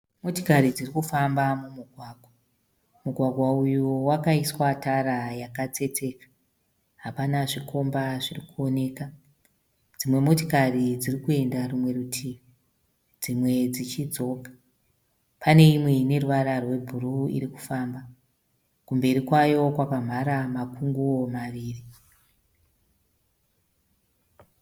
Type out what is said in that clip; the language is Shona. Motikari dziri kufamba mumugwagwa. Mugwagwa uyu wakaiswa tara yakatsetseka hapana zvikomba zviri kuoneka. Dzimwe motikari dziri kuenda rumwe rutivi dzimwe dzichidzoka. Pane imwe ine ruvara rwebhuru iri kufamba kumberi kwayo kwakamhara makunguwo maviri.